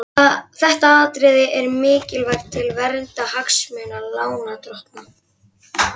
Þetta atriði er mikilvægt til verndar hagsmunum lánardrottna.